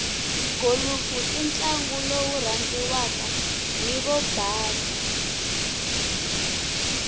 golofu intlangu lowurandziwaka hhivobhasa